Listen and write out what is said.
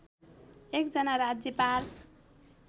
एक जना राज्यपाल